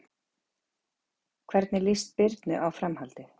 Hvernig líst Birnu á framhaldið?